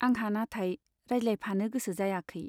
आंहा नाथाय रायज्लायफानो गोसो जायाखै।